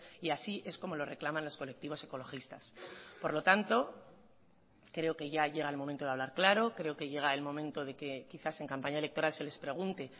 y así es como lo reclaman los colectivos ecologistas por lo tanto creo que ya llega el momento de hablar claro creo que llega el momento de que quizás en campaña electoral se les pregunte